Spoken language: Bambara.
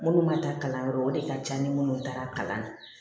Minnu ma taa kalanyɔrɔ o de ka ca ni minnu taara kalan na